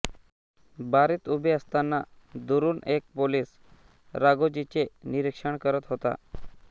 बारीत उभे असताना दुरून एक पोलीस राघोजीचे निरीक्षण करत होता